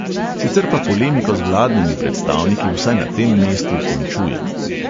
Sicer pa polemiko z vladnimi predstavniki vsaj na tem mestu končujem.